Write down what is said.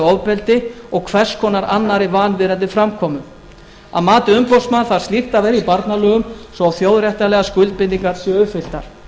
ofbeldi og hvers konar annarri vanvirðandi framkomu að mati umboðsmanns þarf slíkt að vera í barnalögum svo þjóðréttarlegar skuldbindingar séu uppfylltar